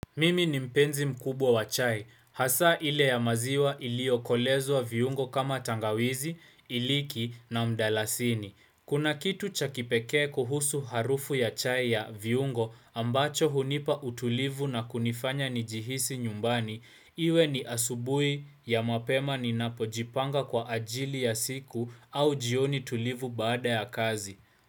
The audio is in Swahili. Mimi ni mpenzi mkubwa wa chai, hasaa ile ya maziwa iliyo kolezwa viungo kama tangawizi, iliki na mdalasini. Kuna kitu chakipekee kuhusu harufu ya chai ya viungo ambacho hunipa utulivu na kunifanya nijihisi nyumbani, iwe ni asubui ya mapema ninapojipanga kwa ajili ya siku au jioni tulivu baada ya kazi.